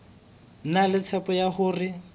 na le tshepo ya hore